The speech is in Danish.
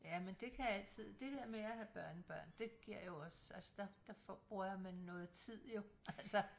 Ja men det kan altid det dér med at have børnebørn det giver jo også altså der der får bruger man noget tid jo altså